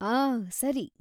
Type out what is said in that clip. ಆಹ್!‌ ಸರಿ.